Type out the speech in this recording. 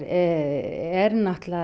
er